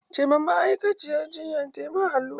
Ce wa ma'aikaciyar jinyan ta ma allura!